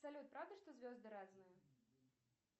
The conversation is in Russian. салют правда что звезды разные